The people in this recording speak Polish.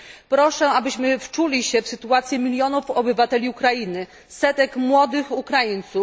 Proszę, abyśmy wczuli się w sytuację milionów obywateli Ukrainy, setek młodych Ukraińców.